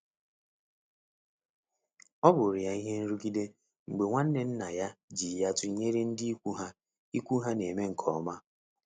ọbụrụ ya ihe nrugide mgbe nwanne nna ya ji ya tụnyere ndị ikwu ha ikwu ha na-eme nke ọma.